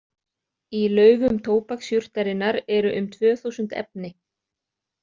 Í laufum tóbaksjurtarinnar eru um tvö þúsund efni.